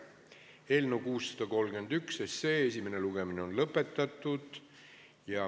Eelnõu 631 esimene lugemine on lõpetatud.